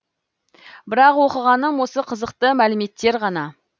бірақ оқығаным осы қызықты мәліметтер ғана